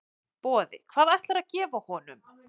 Boði: Hvað ætlarðu að gefa honum?